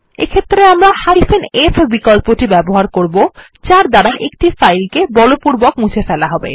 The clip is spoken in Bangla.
এই ক্ষেত্রে আমরা f বিকল্পটি ব্যবহার করবো যার দ্বারা একটি ফাইল কে বলপূর্বক মুছে ফেলা হবে